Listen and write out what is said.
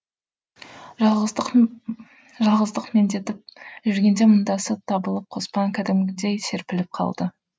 жалғыздық жалғыздық меңдетіп жүргенде мұңдасы табылып қоспан кәдімгідей серпіліп қалды